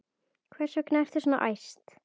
Hvers vegna ertu svona æst?